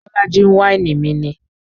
Bolaji ń wáìnì mi ni